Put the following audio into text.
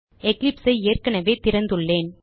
Eclipseஐ ஏற்கனவே திறந்துள்ளேன்